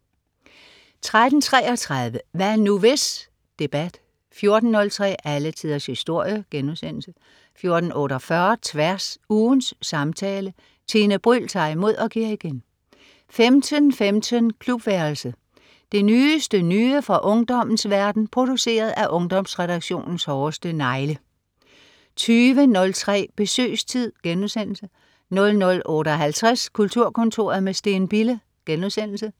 13.33 Hvad nu, hvis? Debat 14.03 Alle tiders historie* 14.48 Tværs. Ugens samtale. Tine Bryld tager imod og giver igen 15.15 Klubværelset. Det nyeste nye fra ungdommens verden, produceret af Ungdomsredaktionens hårdeste negle 20.03 Besøgstid* 00.58 Kulturkontoret. med Steen Bille*